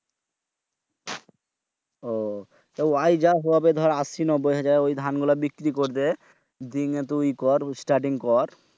আহ ঐ যা হয় দর আশি নব্বই হাজার ধান গুলা বৃক্রি করে দে। দিনে তুই ইয়ে কর Starting কর।